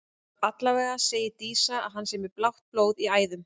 Allavega segir Dísa að hann sé með blátt blóð í æðum.